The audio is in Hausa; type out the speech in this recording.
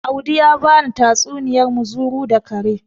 Audi ya bani tatsuniyar muzuru da kare